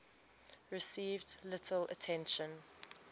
received little attention